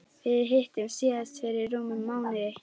Við hittumst síðast fyrir rúmum mánuði.